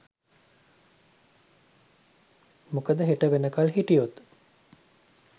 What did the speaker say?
මොකද හෙට වෙනකල් හිටියොත්